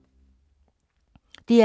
DR K